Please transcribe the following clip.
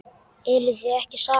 Eruð þið ekki saman?